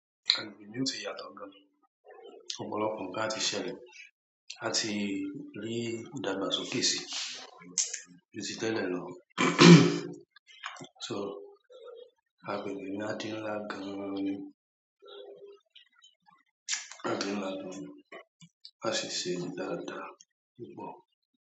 Agbègbè mi ó ti yàtọ̀ gan-an. Ọ̀pọ̀lọpọ̀ nǹkan á ti ṣẹlẹ̀, áá ti rí ìdàgbàsókè síi ju ti tẹ́lẹ̀ lọ. So, agbègbè mi á di ńlá gan-an ni. Áá di ńlá gan-an, áá sì ṣe dáadáa, púpọ̀.